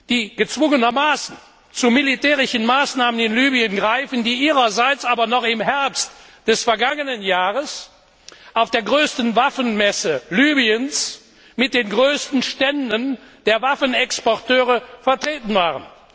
die gezwungenermaßen zu militärischen Maßnahmen in Libyen greifen, die ihrerseits aber noch im Herbst des vergangenen Jahres auf der größten Waffenmesse Libyens mit den größten Ständen der Waffenexporteure vertreten waren.